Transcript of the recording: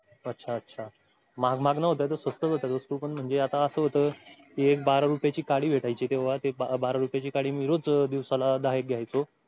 अच्छा अच्छा महाग महाग न्हवत्या त्या स्वस्तच होत्या वस्तू पण म्हणजे आता असं होत. एक बारा रुपयेही काडी भेटायची तेंव्हा ते बारा रुपयेची काडी मी रोज एक दिवसाला दहा घ्यायचो.